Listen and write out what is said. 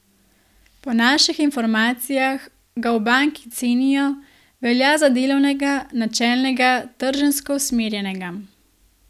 Po naših informacijah ga v banki cenijo, velja za delavnega, načelnega, trženjsko usmerjenega.